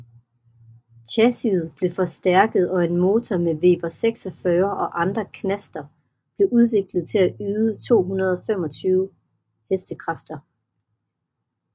Chassiet blev forstærket og en motor med Weber 46 og andre knaster blev udviklet til at yde 225Hk